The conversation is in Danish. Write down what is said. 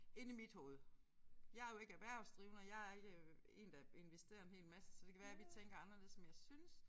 Inde i mit hoved jeg jo ikke erhvervsdrivende og jeg ikke øh én der investerer en hel masse så det kan være vi tænker anderledes men jeg synes